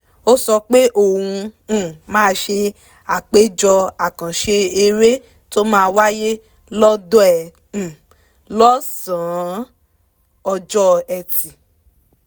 ó sọ pé òun um máa ṣe àpéjọ àkànṣe eré tó máa wáyé lọ́dọ̀ ẹ̀ um lọ́sàn-án ọjọ́ ẹtì